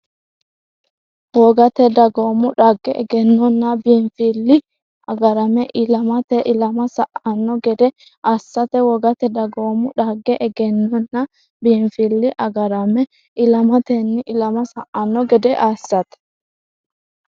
Wogate dagoomu dhagge, egennonna biinfilli agarame ilamatenni ilama sa”anno gede assate Wogate dagoomu dhagge, egennonna biinfilli agarame ilamatenni ilama sa”anno gede assate.